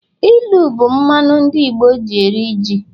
ilu bu mmanu ndi Igbo ji eri ji.